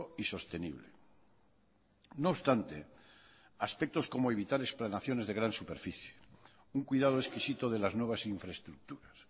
y sostenible no obstante aspectos como evitar explanaciones de gran superficie un cuidado exquisito de las nuevas infraestructuras